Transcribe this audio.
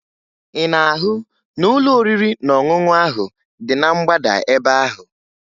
Ị na-ahụ ụlọ oriri na ọṅụṅụ ahụ dị na mgbada ebe ahụ?